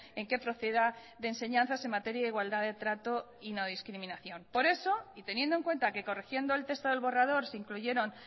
en que proceda de enseñanzas en materia de igualdad de trato y no discriminación por eso y teniendo en cuenta que corrigiendo el texto del borrador se incluyeron